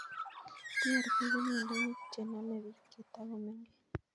TARP ko miondo che namei pik ye toko mengech